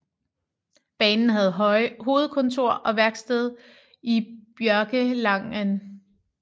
Banen havde hovedkontor og værksted i Bjørkelangen